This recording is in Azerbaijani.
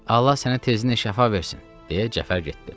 Allah sənə tezindən şəfa versin, deyə Cəfər getdi.